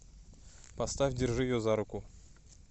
поставь держи ее за руку